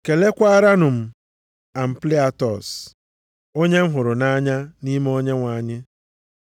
Kelekwaaranụ m Ampliatọs onye m hụrụ nʼanya nʼime Onyenwe anyị.